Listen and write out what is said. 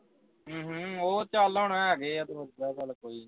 ਅਮ ਹਮ ਓਹ ਚੱਲ ਹੁਣ ਹੈਗੇ ਆ ਕੋਈ ਨੀਂ